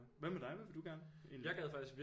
Hvad med dig hvad vil du gerne egentlig